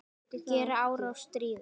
Gera árás- stríða